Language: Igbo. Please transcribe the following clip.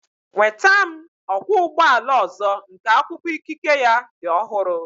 Nweta m ọkwọ ụgbọ ala ọzọ nke akwụkwọ ikike ya dị ọhụrụ